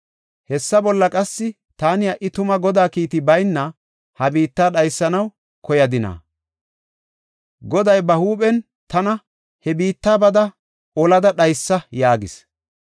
Hessa bolla qassi, taani ha77i tuma Godaa kiiti bayna ha biitta dhaysanaw koyadina? Goday ba huuphen tana, “He biitta bada, olada dhaysa” yaagis.